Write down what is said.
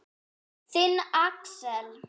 Þinn, Axel.